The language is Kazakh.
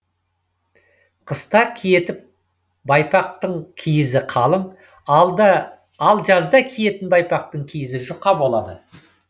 қыста киетіп байпақтық киізі қалың ал жазда киетін байпақтың киізі жұқа болады